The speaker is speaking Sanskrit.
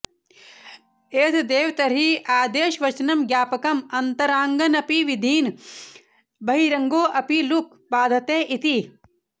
एतदेव तर्हि आदेशवचनं ज्ञापकम् अन्तरङ्गानपि विधीन् बहिरङ्गो ऽपि लुक् बाधते इति